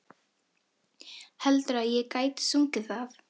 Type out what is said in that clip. Heldurðu að ég gæti sungið það?